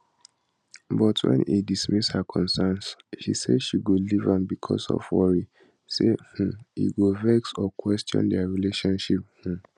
but wen e dismiss her concerns she say she go leave am becos of worry say um e go vex or question dia relationship um